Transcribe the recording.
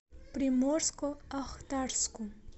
приморско ахтарску